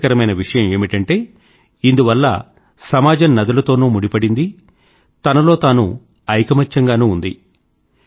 ఆసక్తికరమైన విషయం ఏమిటంటే ఇందువల్ల సమాజం నదులతోనూ ముడిపడింది తనలో తాను ఐకమత్యంగానూ ఉంది